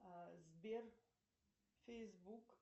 сбер фейсбук